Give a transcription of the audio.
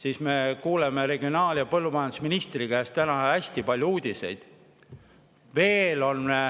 Aga me kuulsime regionaal‑ ja põllumajandusministri käest täna hästi palju uudiseid.